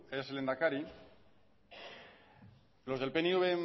es lehendakari los del pnv